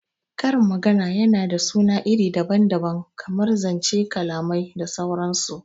Karin magana yana da suna iri daban daban kamar zanc, kalamai da sauran su